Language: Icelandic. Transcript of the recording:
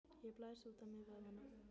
Ég blæs út á mér vöðvana.